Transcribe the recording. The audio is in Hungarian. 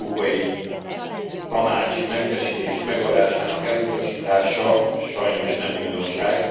Az európai tanácsi mentesítés megadásának elutasítása sajnos nem újdonság.